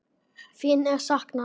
Þín er saknað.